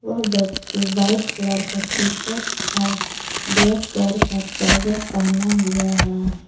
वह व्यक्ति white colour का टीशर्ट और ब्लैक कलर का ट्राउजर पहना हुआ हैं।